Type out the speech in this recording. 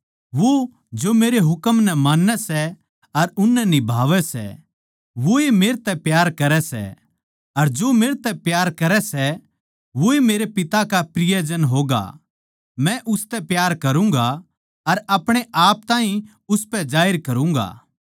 वो जो मेरे हुकम नै मान्नै सै अर उननै निभावै सै वोए मेरतै प्यार करै सै अर जो मेरतै प्यार करै सै वोए मेरे पिता का प्रियजन होगा मै उसतै प्यार करूँगा अर अपणे आप ताहीं उसपै जाहिर करूँगा